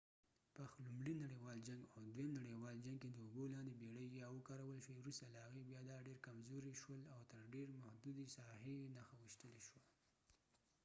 پخ لومړي نړیوال جنګ او دویم نړیوال جنګ کې د اوبو لاندې بیړۍ یا submarines ووکارول شوی وروسته له هغې بیا دا ډیر کمزوري شول او تر ډیرې محدودې ساحې یې نښه ویشتلی شوه